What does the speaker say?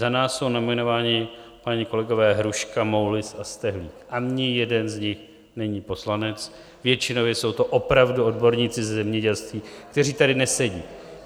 Za nás jsou nominováni páni kolegové Hruška, Moulis a Stehlík, ani jeden z nich není poslanec, většinově jsou to opravdu odborníci ze zemědělství, kteří tady nesedí.